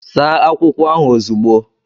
Saa akwụkwọ ahụ ozugbo!